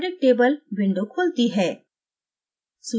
periodic table window खुलती है